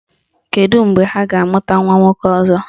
Kedu mgbe ha ga-amụta nwa nwoke ọzọ?